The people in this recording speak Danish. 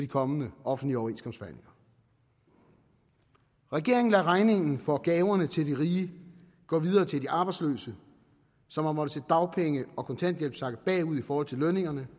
kommende offentlige overenskomstforhandlinger regeringen lader regningen for gaverne til de rige gå videre til de arbejdsløse som har måttet dagpenge og kontanthjælp sakke bagud i forhold til lønningerne